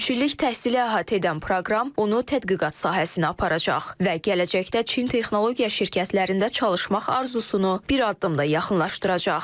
Üç illik təhsili əhatə edən proqram onu tədqiqat sahəsinə aparacaq və gələcəkdə Çin Texnologiya şirkətlərində çalışmaq arzusunu bir addım da yaxınlaşdıracaq.